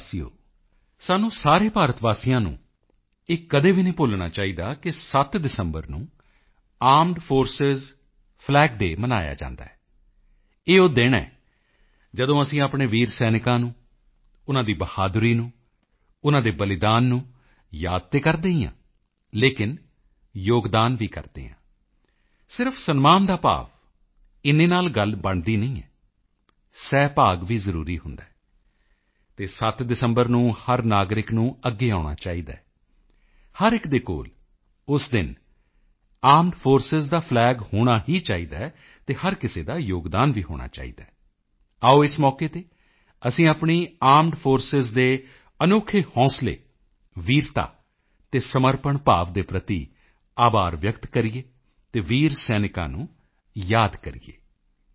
ਮੇਰੇ ਪਿਆਰੇ ਦੇਸ਼ਵਾਸੀਓ ਸਾਨੂੰ ਸਾਰੇ ਭਾਰਤ ਵਾਸੀਆਂ ਨੂੰ ਇਹ ਕਦੇ ਵੀ ਨਹੀਂ ਭੁੱਲਣਾ ਚਾਹੀਦਾ ਕਿ 7 ਦਸੰਬਰ ਨੂੰ ਆਰਮਡ ਫੋਰਸਿਸ ਫਲੈਗ ਡੇਅ ਮਨਾਇਆ ਜਾਂਦਾ ਹੈ ਇਹ ਉਹ ਦਿਨ ਹੈ ਜਦੋਂ ਅਸੀਂ ਆਪਣੇ ਵੀਰ ਸੈਨਿਕਾਂ ਨੂੰ ਉਨ੍ਹਾਂ ਦੀ ਬਹਾਦਰੀ ਨੂੰ ਉਨ੍ਹਾਂ ਦੇ ਬਲੀਦਾਨ ਨੂੰ ਯਾਦ ਤਾਂ ਕਰਦੇ ਹੀ ਹਾਂ ਲੇਕਿਨ ਯੋਗਦਾਨ ਵੀ ਕਰਦੇ ਹਾਂ ਸਿਰਫ ਸਨਮਾਨ ਦਾ ਭਾਵ ਇੰਨੇ ਨਾਲ ਗੱਲ ਬਣਦੀ ਨਹੀਂ ਹੈ ਸਹਿਭਾਗ ਵੀ ਜ਼ਰੂਰੀ ਹੁੰਦਾ ਹੈ ਅਤੇ 7 ਦਸੰਬਰ ਨੂੰ ਹਰ ਨਾਗਰਿਕ ਨੂੰ ਅੱਗੇ ਆਉਣਾ ਚਾਹੀਦਾ ਹੈ ਹਰ ਇੱਕ ਦੇ ਕੋਲ ਉਸ ਦਿਨ ਆਰਮਡ ਫੋਰਸਿਸ ਦਾ ਫਲੈਗ ਹੋਣਾ ਹੀ ਚਾਹੀਦਾ ਹੈ ਅਤੇ ਹਰ ਕਿਸੇ ਦਾ ਯੋਗਦਾਨ ਵੀ ਹੋਣਾ ਚਾਹੀਦਾ ਹੈ ਆਓ ਇਸ ਮੌਕੇ ਤੇ ਅਸੀਂ ਆਪਣੀ ਆਰਮਡ ਫੋਰਸਿਸ ਦੇ ਅਨੋਖੇ ਹੌਸਲੇ ਵੀਰਤਾ ਅਤੇ ਸਮਰਪਣ ਭਾਵ ਦੇ ਪ੍ਰਤੀ ਆਭਾਰ ਵਿਅਕਤ ਕਰੀਏ ਅਤੇ ਵੀਰ ਸੈਨਿਕਾਂ ਨੂੰ ਯਾਦ ਕਰੀਏ